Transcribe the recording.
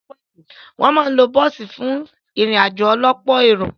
Wọ́n máa ń lo bọ́ọ̀sì fún ìrìn-àjò ọlọ́pọ̀ èrò.